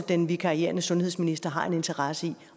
den vikarierende sundhedsminister har en interesse i